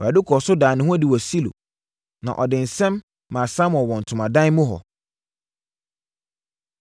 Awurade kɔɔ so daa ne ho adi wɔ Silo, na ɔde nsɛm maa Samuel wɔ ntomadan mu hɔ.